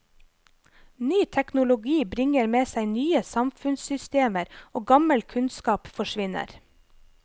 Ny teknologi bringer med seg nye samfunnssystemer og gammel kunnskap forsvinner.